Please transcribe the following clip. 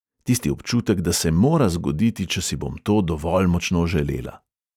Tisti občutek, da se mora zgoditi, če si bom to dovolj močno želela.